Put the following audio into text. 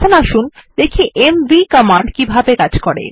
এখন আসুন দেখি এমভি কমান্ড কিভাবে কাজ করে